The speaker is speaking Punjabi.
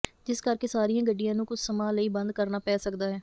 ਜਿਸ ਕਰਕੇ ਸਾਰੀਆਂ ਗੱਡੀਆਂ ਨੂੰ ਕੁੱਝ ਸਮਾਂ ਲਈ ਬੰਦ ਕਰਨਾ ਪੈ ਸਕਦਾ ਹੈ